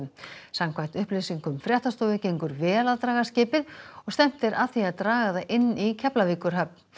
samkvæmt upplýsingum fréttastofu gengur vel að draga skipið og stefnt er að því að draga það inn í Keflavíkurhöfn